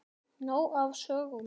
Nóg af sögum.